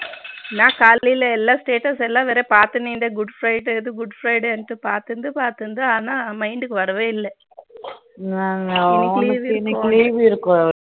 நான் காலைல எல்லாம் Status வேற பாத்து இருந்தேன் good friday இறுது Good Friday னு பாத்து இருந்தேன் பாத்து இருந்தேன் ஆனால் mind கு வரவே இல்லை